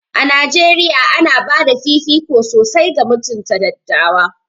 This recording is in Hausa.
A Najeriya, ana ba da fifiko sosai ga mutunta dattawa.